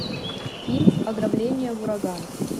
фильм ограбление ураган